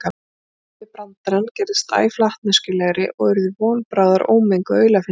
Tilbrigðin við brandarann gerðust æ flatneskjulegri og urðu von bráðar ómenguð aulafyndni.